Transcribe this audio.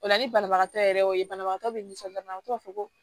O la ni banabagatɔ yɛrɛ y'o ye banabagatɔ bɛ nisɔndiya o b'a fɔ ko